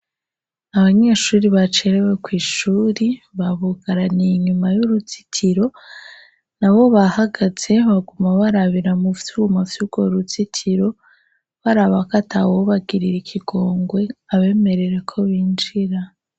abanyeshuri bacerewe kw' ishuri babugaraniye inyuma y'uruziitiro nabo bahagaze baguma barabira muvyuma vyugo ruzitiro barabako atawobagirira ikigongwe abemerere ko binjira